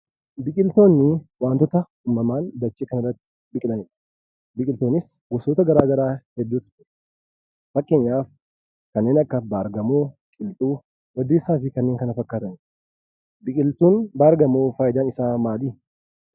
Biqitoonni waantota uumamaan dachee kanarratti biqilanidha. Biqiltoonni kunis gosoota garaa garaa hedduutu jira. Fakkeenyaaf kanneen akka baargamoo, qilxuu, waddeessaa fi kanneen kana fakkaatanidha. Biqiltuun baargamoo faayidaan isaa maali?